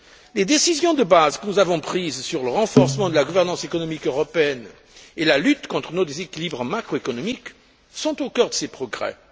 Les décisions de base que nous avons prises sur le renforcement de la gouvernance économique européenne et la lutte contre nos déséquilibres macro économiques sont au cœur de ces progrès.